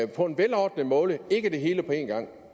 på en velordnet måde ikke det hele på en gang